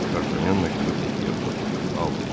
Dartanyan məktubu Kettiyə uzadıb: "Al!" dedi.